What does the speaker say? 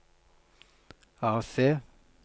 AC